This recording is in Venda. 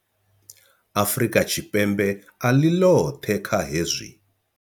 Afrika Tshipembe a ḽi ḽoṱhe kha hezwi.